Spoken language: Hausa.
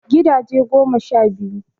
Gidaje goma sha biyu